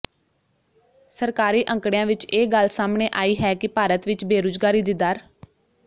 ਸਰਕਾਰੀ ਅੰਕੜਿਆਂ ਵਿਚ ਇਹ ਗੱਲ ਸਾਹਮਣੇ ਆਈ ਹੈ ਕਿ ਭਾਰਤ ਵਿਚ ਬੇਰੁਜ਼ਗਾਰੀ ਦੀ ਦਰ